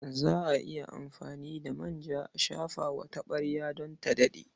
Za a iya amfani da manja a shafa wa taɓarya don ta daɗe.